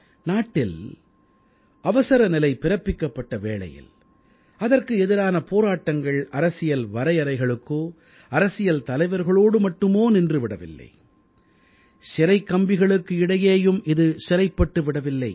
நாட்டில் அவசரநிலை பிறப்பிக்கப்பட்ட வேளையில் அதற்கு எதிரான போராட்டங்கள் அரசியல் வரையறைகளுக்கோ அரசியல் தலைவர்களோடு மட்டுமோ நின்று விடவில்லை சிறைக் கம்பிகளுக்கு இடையேயும் இது சிறைப்பட்டு விடவில்லை